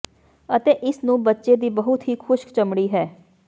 ਅਤੇ ਇਸ ਨੂੰ ਬੱਚੇ ਦੀ ਬਹੁਤ ਹੀ ਖੁਸ਼ਕ ਚਮੜੀ ਹੈ